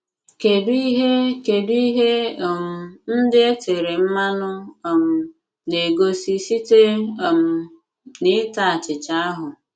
Kedụ ihe Kedụ ihe um ndị e tere mmanụ um na - egosi site um n’ịta achịcha ahụ?